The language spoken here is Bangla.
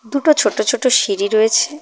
দুটো ছোট ছোট সিঁড়ি রয়েছে।